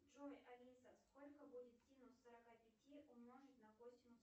джой алиса сколько будет синус сорока пяти умножить на косинус